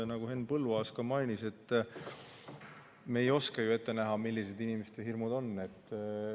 Nagu Henn Põlluaas ka mainis, me ei oska ju ette näha, millised inimeste hirmud on.